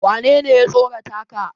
wanene ya tsorata ka?